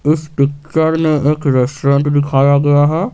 इस पिक्चर में एक रेस्टोरेंट दिखाया गया है।